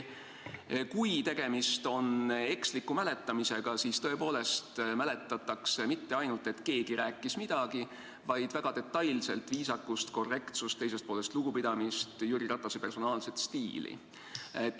" Kui tegemist on eksliku mäletamisega, siis tõepoolest mäletatakse mitte ainult seda, et keegi rääkis midagi, vaid väga detailselt viisakust, korrektsust, teisest poolest lugupidamist, Jüri Ratase personaalset stiili.